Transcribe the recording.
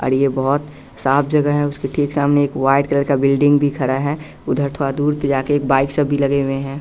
और ये बहोत साफ जगह है उसके सामने एक व्हाइट करके बिल्डिंग भी खरा खड़ा है उधर थोड़ा दूर जा के बाइक सब भी लगे हुए हैं।